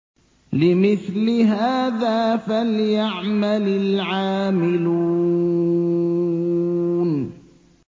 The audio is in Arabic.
لِمِثْلِ هَٰذَا فَلْيَعْمَلِ الْعَامِلُونَ